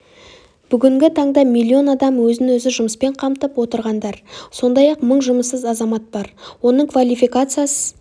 бүгінгі таңда миллион адам өзін-өзі жұмыспен қамтып отырғандар сондай-ақ мың жұмыссыз азамат бар оның ының квалификациясы